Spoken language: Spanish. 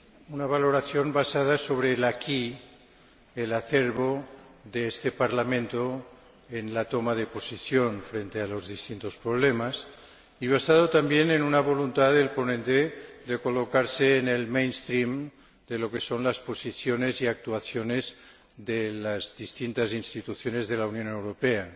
una valoración basada sobre el el acervo, de este Parlamento en la toma de posición frente a los distintos problemas y basada también en una voluntad del ponente de colocarse en el de lo que son las posiciones y actuaciones de las distintas instituciones de la Unión Europea,